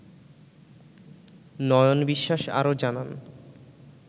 নয়ন বিশ্বাস আরও জানান